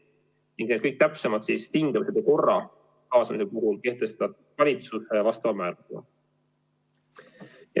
Kõik kaasamise täpsemad tingimused ja korra kehtestab valitsus määrusega.